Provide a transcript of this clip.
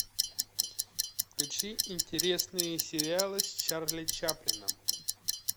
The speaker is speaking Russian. включи интересные сериалы с чарли чаплиным